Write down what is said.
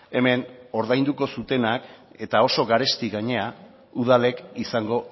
hemen ordainduko zutenak eta oso garesti gainera udalek izango